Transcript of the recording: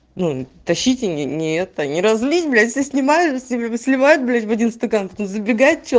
ну тащите не это не разлить блять снимаю с ними сливают блять один стакан забегает